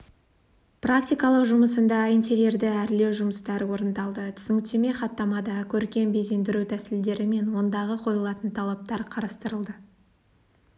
практикалық жұмысынды итерерді әрлеу жұмыстары орындалды түсініктеме хаттамада көркем безендіру тәсілдерімен ондағы қойылатын талаптар қарастырылды